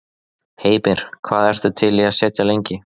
Heimir: Hvað ertu til í að sitja lengi?